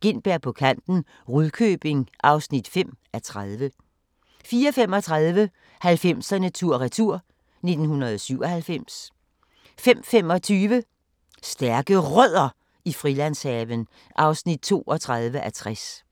Gintberg på kanten – Rudkøbing (5:30)* 04:35: 90'erne tur-retur: 1997 05:25: Stærke Rødder i Frilandshaven (32:60)